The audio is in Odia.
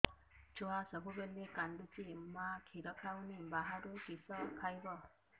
ଛୁଆ ସବୁବେଳେ କାନ୍ଦୁଚି ମା ଖିର ହଉନି ବାହାରୁ କିଷ ଖାଇବ